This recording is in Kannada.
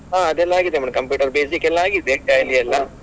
ಹ ಅದೆಲ್ಲ ಆಗಿದೆ madam computer basic ಎಲ್ಲ ಆಗಿದೆ tally ಎಲ್ಲ.